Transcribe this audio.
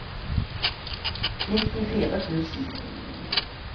nittifire tusen